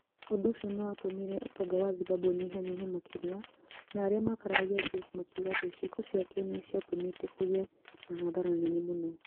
Ũndũ ũcio nĩ watũmire ũtonga wa Zimbabwe ũnyihanyihe makĩria, na arĩa makararagia James makiuga atĩ ciĩko ciake nĩ ciatũmĩte kũgĩe na hathara nene mũno.